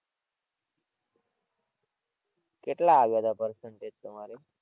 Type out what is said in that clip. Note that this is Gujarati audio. કેટલા આવ્યા તા percentage તમારે?